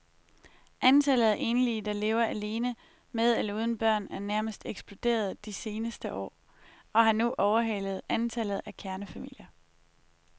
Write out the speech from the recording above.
Antallet af enlige, der lever alene med eller uden børn er nærmest eksploderet de seneste år og har nu overhalet antallet af kernefamilier.